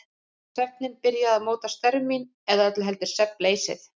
Svefninn byrjaði að móta störf mín- eða öllu heldur svefnleysið.